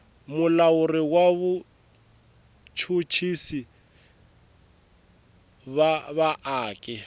mulawuri wa vachuchisi va vaaki